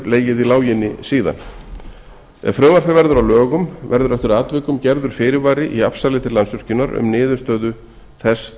legið í láginni síðan ef frumvarpið verður að lögum verður eftir atvikum gerður fyrirvari í afsali til landsvirkjunar um niðurstöðu þess